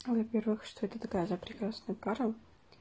во-первых что это такая за прекрасная кара